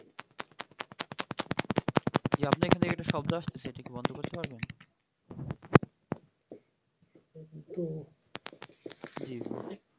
কি বললি